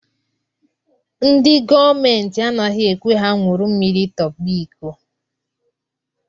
Ndị gọọmenti anaghịkwa ekwe ha nwuru mmiri tọba iko.